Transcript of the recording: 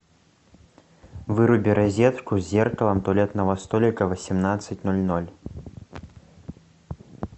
выруби розетку с зеркалом туалетного столика в восемнадцать ноль ноль